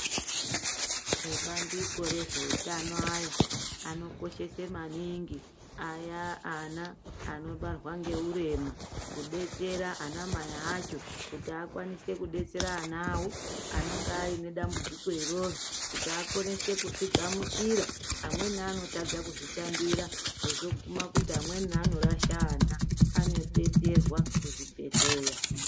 Ebandiko rezveutano aya anokoshese maningi aya ana anobarwa ngeurema. Kubetsera ana mai acho kuti akwanise kubetsera ana avo anenge aine dambudziko iroro kuti akonese kuzvigamuchira. Amweni anotadza kuzvitambira zvozoguma kuti amweni anorasha ana anobetserwa kuzvibhedhleya.